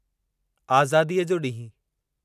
आज़ादीअ जो ॾींहुं